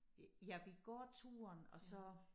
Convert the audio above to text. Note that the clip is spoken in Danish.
Ja vi går turen og så